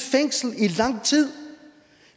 fængsel i lang tid